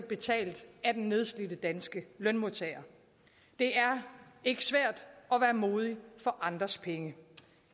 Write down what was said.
betalt af den nedslidte danske lønmodtager det er ikke svært at være modig for andres penge